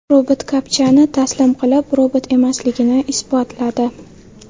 Robot kapchani taslim qilib, robot emasligini isbotladi .